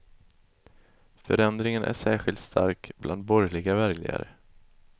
Förändringen är särskilt stark bland borgerliga väljare.